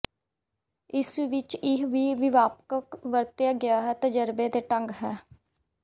ਇਸ ਵਿਚ ਇਹ ਵੀ ਵਿਆਪਕ ਵਰਤਿਆ ਗਿਆ ਹੈ ਤਜਰਬੇ ਢੰਗ ਹੈ